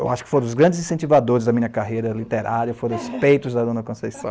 Eu acho que foram os grandes incentivadores da minha carreira literária foram os peitos da Dona Conceição.